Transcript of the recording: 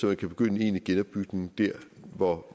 man kan begynde en egentlig genopbygning der hvor